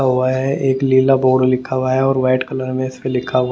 हुआ है एक लीला बोर्ड लिखा हुआ है और व्हाइट कलर में लिखा हुआ है।